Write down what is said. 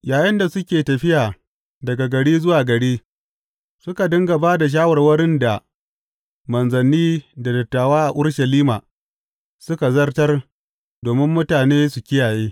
Yayinda suke tafiya daga gari zuwa gari, suka dinga ba da shawarwarin da manzanni da dattawa a Urushalima suka zartar domin mutane su kiyaye.